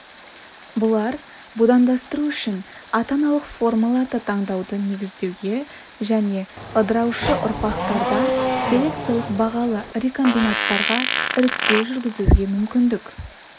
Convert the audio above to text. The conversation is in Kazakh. бұлар будандастыру үшін ата-аналық формаларды таңдауды негіздеуге және ыдыраушы ұрпақтарда селекциялық бағалы рекомбинаттарға іріктеу жүргізуге мүмкіндік